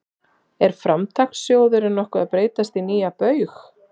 Er Framtakssjóðurinn nokkuð að breytast í nýja Baug?